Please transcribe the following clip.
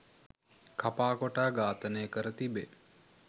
කපා කොටා ඝාතනය කර තිබේ